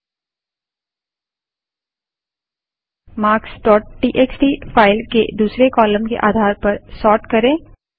marksटीएक्सटी file के दूसरी column के आधार पर सोर्ट करें